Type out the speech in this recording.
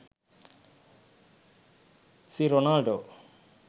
c ronaldo